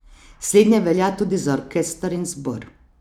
Slednje velja tudi za orkester in zbor.